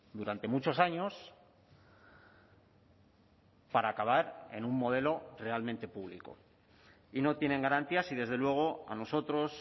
durante muchos años para acabar en un modelo realmente público y no tienen garantías y desde luego a nosotros